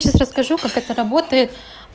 сейчас расскажу как это работает